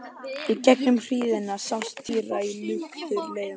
Í gegnum hríðina sást týra í luktir leitarmanna.